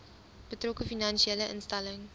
betrokke finansiële instelling